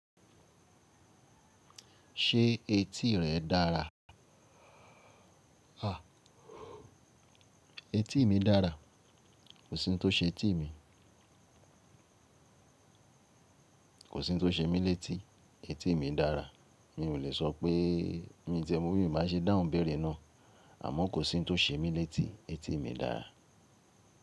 Ṣé etí rẹ dára? Etí mi dára. Kò sí ohun tó ṣe etí mi. Kò sí ohun tó ṣe mí létí, etí mi dára. Mi ò lè sọ pé mí ti ẹ́ mo bí mi n bàá ṣe dáhùn ìbéèrẹ̀ ná. Àmọ́ kò sí ohun tó ṣe mí létí, etí mi dára.